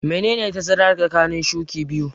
Menene tazara tsakanin shuƙi biyu?